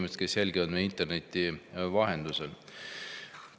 Head inimesed, kes jälgivad meid interneti vahendusel!